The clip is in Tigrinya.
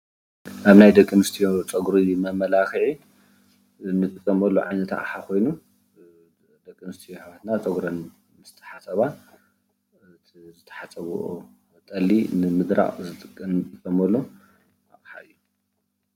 ካብ ናይ ደቂ ኣነስትዮ ፀጉሪ ንመማላኪዒ እንጥቀመሉ ዓይነት ኣቅሓ ኮይኑ ደቂ ኣነስትዩ ኣሕዋትና ፀጉረን ምስ ተሓፀባ ዝተሓፀበኦ ጠሊ ንምድራቅ እንጥቀመሉ ኣቅሓ እዩ፡፡